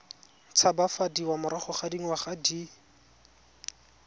tshabafadiwa morago ga dingwaga di